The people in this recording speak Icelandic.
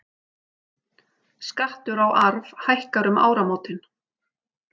Skattur á arf hækkar um áramótin